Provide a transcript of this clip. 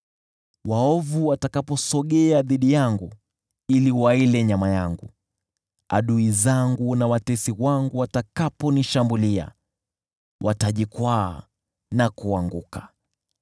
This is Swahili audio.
Waovu watakaposogea dhidi yangu ili wanile nyama yangu, adui zangu na watesi wangu watakaponishambulia, watajikwaa na kuanguka.